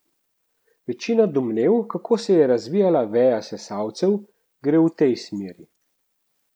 Večina domnev, kako se je razvijala veja sesalcev, gre v tej smeri.